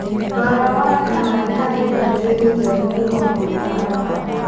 Rora wone kana nĩ harĩ ndũmĩrĩri njerũ kuuma kũrĩ baba.